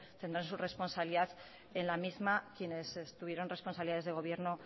tendrán su responsabilidad en la misma quienes tuvieron responsabilidades de gobierno